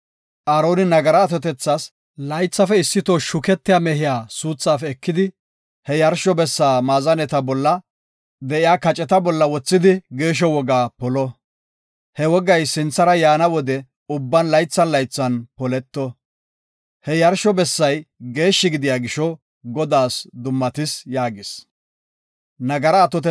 Aaroni, nagaraa atotethas laythafe issi toho shuketiya mehiya suuthaafe ekidi, he yarsho bessa maazaneta bolla de7iya kaceta wothidi geeshsho wogaa polo. Ha wogay sinthara yaana wode ubban laythan laythan poleto. He yarsho bessay geeshshi gidiya gisho Godaas dummatis” yaagis.